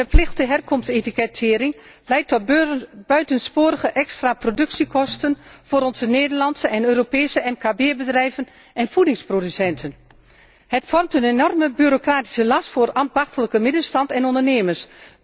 Verplichte herkomstetikettering leidt tot buitensporige extra productiekosten voor onze Nederlandse en Europese mkb bedrijven en voedingsproducenten en vormt een enorme bureuacratische last voor ambachtelijke middenstand en ondernemers.